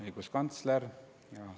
Õiguskantsler!